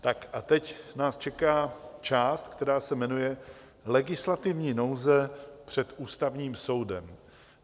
A teď nás čeká část, která se jmenuje legislativní nouze před Ústavním soudem.